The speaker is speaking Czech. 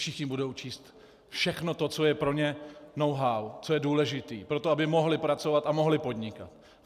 Všichni budou číst všechno, co je pro ně know-how, co je důležité pro to, aby mohli pracovat a mohli podnikat.